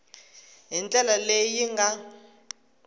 hi ndlela leyi yi nga